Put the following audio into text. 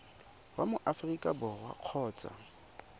wa mo aforika borwa kgotsa